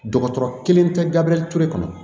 Dɔgɔtɔrɔ kelen tɛ gabure ture kɔnɔ